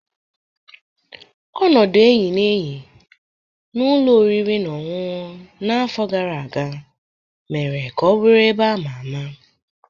Ọnọdụ enyi na enyi na ụlọ oriri na ọṅụṅụ n'afọ gara aga mere ka ọ bụrụ ebe a ma ama.